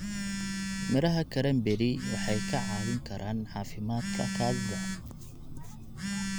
Midhaha cranberry waxay ka caawin karaan caafimaadka kaadida.